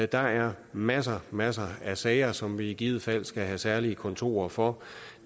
der er masser masser af sager som vi i givet fald skal have særlige kontorer for